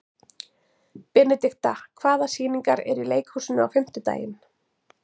Benidikta, hvaða sýningar eru í leikhúsinu á fimmtudaginn?